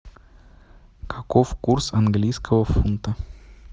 каков курс английского фунта